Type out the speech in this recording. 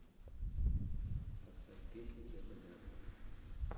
поставь песня те года